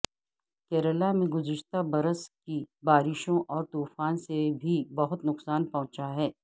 کیرالہ میں گزشتہ برس کی بارشوں اور طوفان سے بھی بہت نقصان پہنچا ہے